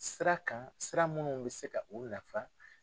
Sira kan sira minnu bɛ se ka u nafa.